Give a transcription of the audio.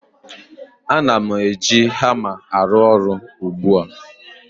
Ana m eji hama arụ ọrụ ugbu a